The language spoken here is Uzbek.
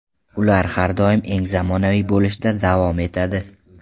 Ular har doim eng zamonaviy bo‘lishda davom etadi.